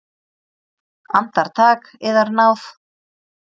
Andartak, yðar náð!